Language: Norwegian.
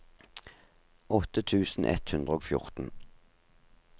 åtte tusen ett hundre og fjorten